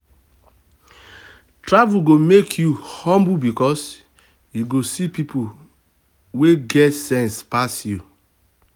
travel go make you humble because you go see people wey get sense pass you.